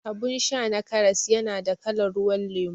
Abun sha na karas yana da kalan ruwan lemo